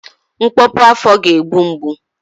Ịkpọpu afọ ga-egbu mgbu